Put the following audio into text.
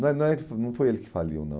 não é não é não Não foi ele que faliu, não.